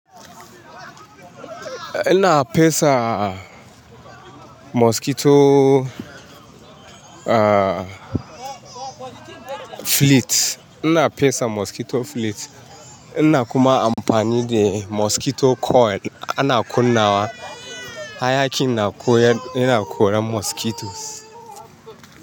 Ina fesa mosquito, fleet. Ina fesa mosquito fleet. Ina kuma amfani da mosquito coil ana kunna wa. Hayaƙin na koya, yana koran mosquitoes.